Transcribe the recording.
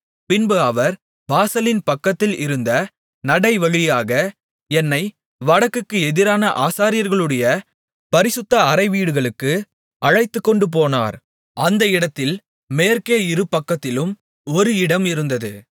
பின்பு அவர் வாசலின் பக்கத்தில் இருந்த நடைவழியாக என்னை வடக்குக்கு எதிரான ஆசாரியர்களுடைய பரிசுத்த அறைவீடுகளுக்கு அழைத்துக்கொண்டுபோனார் அந்த இடத்தில் மேற்கே இருபக்கத்திலும் ஒரு இடம் இருந்தது